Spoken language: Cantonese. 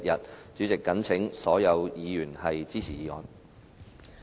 代理主席，我謹請所有議員支持議案。